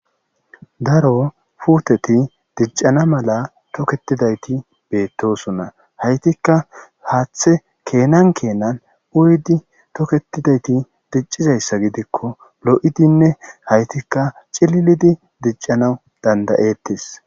daro puuteti diccana mala toketidayti beettosona haytikka haaththe keenan keenan uyidi toketidayti diccizayssa gidikko lo'idinne haytikka cililidi diccana dandayettes